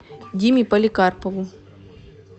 диме поликарпову